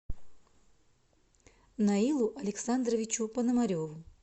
наилу александровичу понамареву